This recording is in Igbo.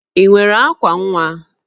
Ị nwere akwa nwa?